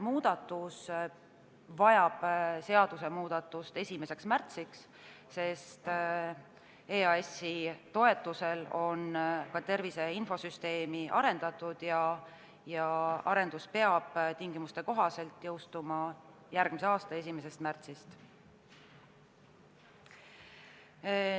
See vajab seadusemuudatust 1. märtsiks, sest EAS-i toetuse abil on ka tervise infosüsteemi arendatud ja arendus peab tingimuste kohaselt jõustuma järgmise aasta 1. märtsist.